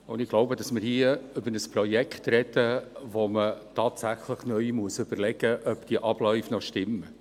Und ich glaube, dass wir hier über ein Projekt reden, bei dem man tatsächlich neu überlegen muss, ob die Abläufe noch stimmen.